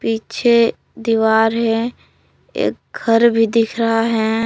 पीछे दीवार है एक घर भी दिख रहा है।